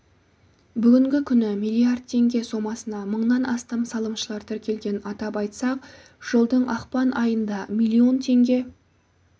бүгінгі күні миллиард теңге сомасына мыңнан астам салымшылар тіркелген атап айтсақ жылдың ақпан айында миллион теңге